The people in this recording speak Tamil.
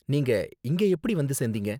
நீங்க இங்கே எப்படி வந்து சேந்தீங்க?